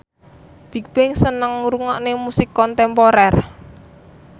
Bigbang seneng ngrungokne musik kontemporer